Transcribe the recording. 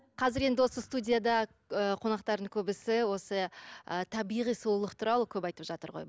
қазір енді осы студияда ы қонақтардың көбісі осы ы табиғи сұлулық туралы көп айтып жатыр ғой